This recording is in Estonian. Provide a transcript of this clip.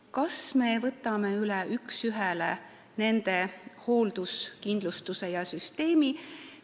Kas me võiks võtta üks ühele üle nende hoolduskindlustussüsteemi?